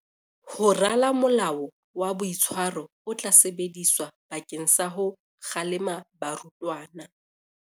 Ho rala molao wa boitshwaro o tla sebediswa bakeng sa ho kgalema barutwana.